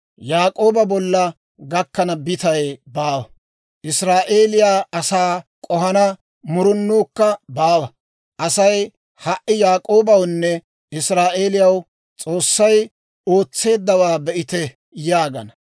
Yaak'ooba bolla gakkana bitay baawa; Israa'eeliyaa asaa k'ohana murunuukka baawa. Asay ha"i, ‹Yaak'oobawunne Israa'eelaw S'oossay ootseeddawaa be'ite› yaagana.